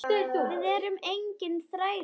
Við erum engir þrælar.